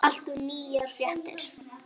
Alltaf nýjar fréttir af okkur.